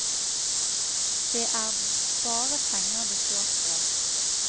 Det er bare penger det står på.